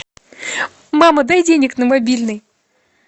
мама дай денег на мобильный